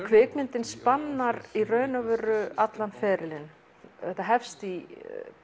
kvikmyndin spannar í raun og veru allan ferilinn þetta hefst í